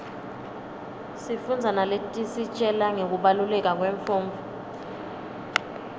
sifundza naletisitjela ngekubaluleka kwemfundvo